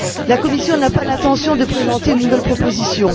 La Commission n'a pas l'intention de présenter une nouvelle proposition.